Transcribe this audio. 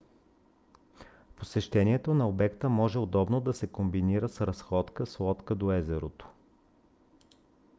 посещението на обекта може удобно да се комбинира с разходка с лодка до езерото